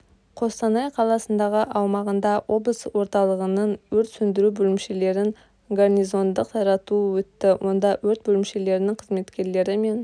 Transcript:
қостанай қаласындағы аумағында облыс орталығының өрт сөндіру бөлімшелерін гарнизондық таратуы өтті онда өрт бөлімшелерінің қызметкерлері мен